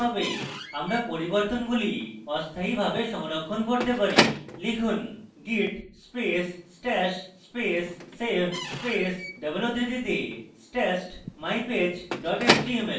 আমরা পরিবর্তনগুলি অস্থায়ীভাবে সংরক্ষণ করতে পারি লিখুন: git space stash space save space double উদ্ধৃতিতে stashed mypage html